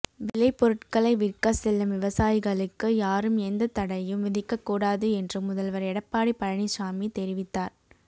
விளைபொருட்களை விற்க செல்லும் விவசாயிகளுக்கு யாரும் எந்த தடையும் விதிக்கக் கூடாது என்று முதல்வர் எடப்பாடி பழனிசாமி தெரிவித்தார்